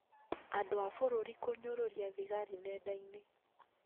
Andũ a bũrũri kũnyũrũria thigari nendainĩ